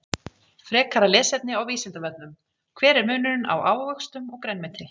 Frekara lesefni á Vísindavefnum: Hver er munurinn á ávöxtum og grænmeti?